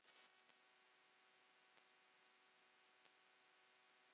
Nú hefur amma kvatt okkur.